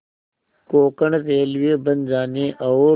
Konkan railway बन जाने और